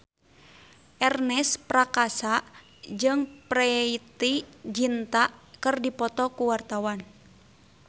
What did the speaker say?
Ernest Prakasa jeung Preity Zinta keur dipoto ku wartawan